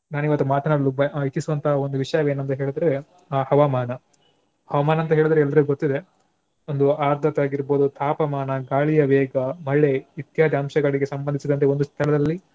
ನಾನಿವತ್ತು ಮಾತನಾಡಲು ಬ~ ಇಚ್ಚಿಸುವಂತಹ ಒಂದು ವಿಷಯವೇನಂತ ಹೇಳಿದರೆ ಆ ಹವಾಮಾನ. ಹವಾಮಾನಂತ ಹೇಳಿದ್ರೆ ಎಲ್ರಿಗೆ ಗೊತ್ತಿದೆ ಒಂದು ಆದತ್ತಗಿರ್ಬಹುದು ತಾಪಮಾನ ಗಾಳಿಯ ವೇಗ ಮಳೆ ಇತ್ಯಾದಿ ಅಂಶಗಳಿಗೆ ಸಂಭಧಿಸಿದಂತೆ ಒಂದು ಸ್ಥಳದಲ್ಲಿ